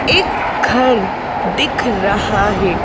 एक घर दिख रहा है।